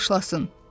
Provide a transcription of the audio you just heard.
De başlasın.